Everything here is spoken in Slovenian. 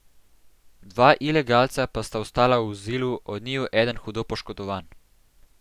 Dva ilegalca pa sta ostala v vozilu, od njiju eden hudo poškodovan.